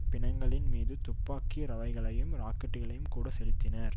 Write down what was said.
பிணங்களின் மீது துப்பாக்கி ரவைகளையும் ராக்கெட்டுகளையும் கூட செலுத்தினர்